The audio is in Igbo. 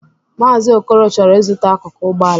Maazi Okoro chọrọ izụta akụkụ Ụgbọala.